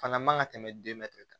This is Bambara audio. Fana man ka tɛmɛ kan